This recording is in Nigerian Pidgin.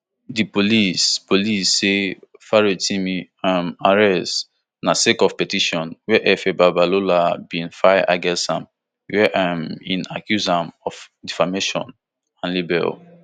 di police police say farotimi um arrest na sake of petition wey afe babalola bin file against am wia um e accuse am of defamation and libel